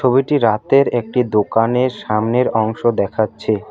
ছবিটি রাতের একটি দোকানের সামনের অংশ দেখাচ্ছে।